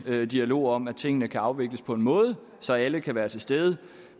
dialog om at tingene kan afvikles på en måde så alle kan være til stede